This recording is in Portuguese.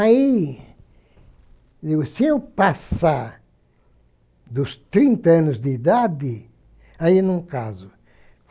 Aí, se eu passar dos trinta anos de idade, aí eu não caso.